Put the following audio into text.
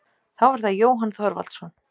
Þá er það Jóhann Þorvaldsson.